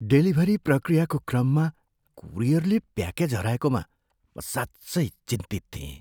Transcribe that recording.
Delivery प्रक्रियाको क्रममा कुरियरले प्याकेज हराएकोमा म साँच्चै चिन्तित थिएँ।